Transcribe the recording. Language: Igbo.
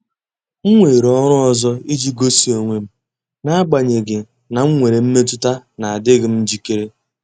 M weere ọrụ ọzọ iji gosi onwe m, n'agbanyeghị na m nwere mmetụta na adịghị m njikere.